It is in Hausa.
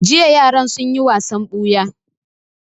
Jiya yaran sun yi wasan ɓuya